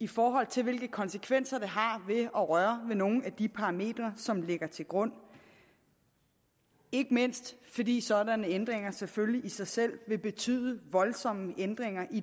i forhold til hvilke konsekvenser det har at røre ved nogle af de parametre som ligger til grund ikke mindst fordi sådanne ændringer selvfølgelig i sig selv vil betyde voldsomme ændringer i